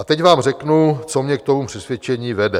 A teď vám řeknu, co mě k tomu přesvědčení vede.